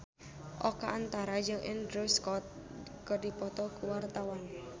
Oka Antara jeung Andrew Scott keur dipoto ku wartawan